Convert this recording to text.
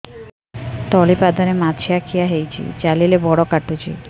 ତଳିପାଦରେ ମାଛିଆ ଖିଆ ହେଇଚି ଚାଲିଲେ ବଡ଼ କାଟୁଚି